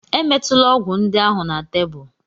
Emetula ọgwụ ndị ahụ na tebụl!